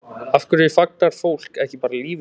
Af hverju fagnar fólk ekki bara lífinu?